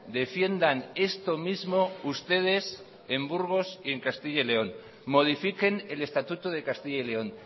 defiendan esto mismo ustedes en burgos y en castilla y león modifiquen el estatuto de castilla y león